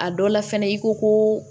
A dɔ la fɛnɛ i ko ko